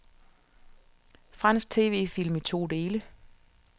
Fransk TVfilm i to dele.